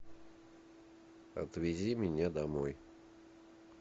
отвези меня домой